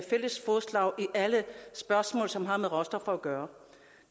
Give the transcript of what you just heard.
alle spørgsmål som har med råstoffer at gøre